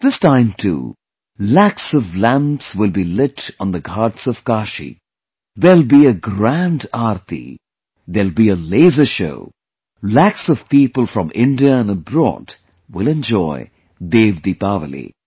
This time too, lakhs of lamps will be lit on the Ghats of Kashi; there will be a grand Aarti; there will be a laser show... lakhs of people from India and abroad will enjoy 'DevDeepawali'